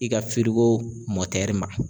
I ka ma.